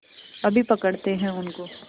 अभी पकड़ते हैं उनको